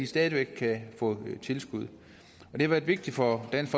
stadig væk kan få tilskud det har været vigtigt for dansk